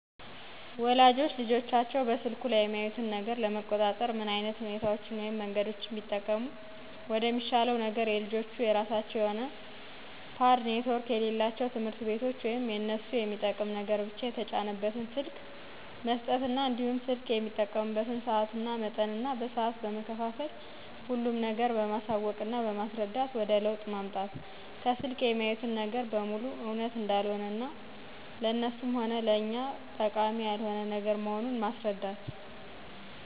ወላጆች ልጆቻቸው በስልኩ ላይ የሚያዩትን ነገር ለመቆጣጠር ምን ዓይነት ሁኔታዎችን ወይም መንገዶችን ቢጠቀሙ ደሚሻለው ነገር የልጆቹ የራሳቸው የሆነ ፖድ ኔትወርክ የሌለው ትምህርቶች ወይም የእነሱ የሚጠቅም ነገር ብቻ የተጫነበትን ስልክ መስጠትና እንዲሁም ስልክ የሚጠቀሙበትን ሰአት መመጠን እና በሰአት በመከፋፈል ሁሉም ነገር በማሳወቅና በማስስረዳት ወደ ለውጥ ማምጣት። ከስልክ የሚያዩት ነገር በሙሉ እውነት እንዳልሆነ እና ለእነሱም ሆነ ለእኛ ጠቃሚ ያልሆነ ነገር መሆኑን ማስረዳት።